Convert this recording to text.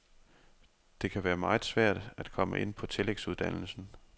Det kan være meget svært at komme ind på tillægsuddannelsen.